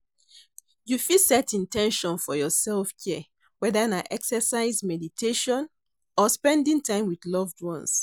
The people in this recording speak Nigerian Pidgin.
You fit set in ten tion for your self-care, whether na exercise, mediation or spending time with love ones.